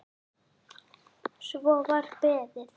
Svo var beðið.